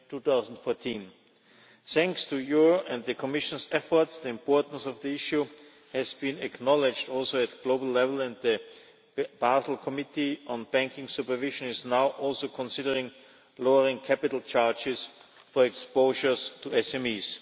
2014. Thanks to your and the Commission's efforts, the importance of the issue has also been acknowledged at global level, and the Basel Committee on Banking Supervision is now also considering lowering capital charges for exposures to SMEs.